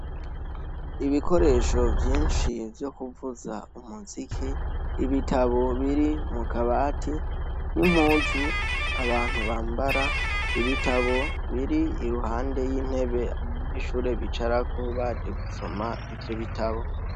Ibikoresho vyinshi vyo kuvuza umuziki ibitabo biri mu kabati nimpuzu abantu bambara ibitabo biri iruhande y'intebe n'ishure bicarako baje gusoma ivyo bitabo.